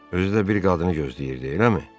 Özü də bir qadını gözləyirdi, eləmi?